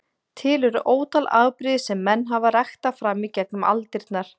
Til eru ótal afbrigði sem menn hafa ræktað fram í gegnum aldirnar.